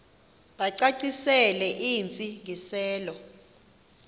bacacisele intsi ngiselo